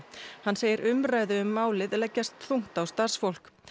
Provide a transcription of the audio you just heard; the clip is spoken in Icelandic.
hann segir umræðu um málið leggjast þungt á starfsfólk